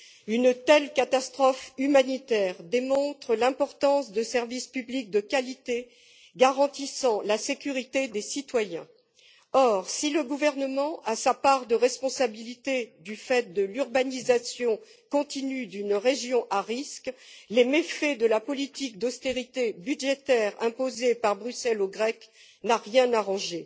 Une telle catastrophe humanitaire démontre l'importance de services publics de qualité garantissant la sécurité des citoyens. Or, si le gouvernement a sa part de responsabilité, du fait de l'urbanisation continue d'une région à risque, les méfaits de la politique d'austérité budgétaire imposée par Bruxelles aux Grecs n'ont rien arrangé.